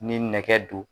Ni nɛgɛ don